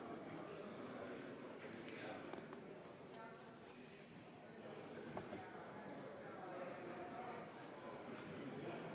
Konservatiivse Rahvaerakonna fraktsiooni võetud vaheaeg on läbi ja läheme hääletamise juurde.